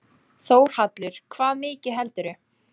Þórhallur: Hvað mikið heldurðu?